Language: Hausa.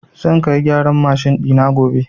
Zan kai gyaran mashin ɗina gobe.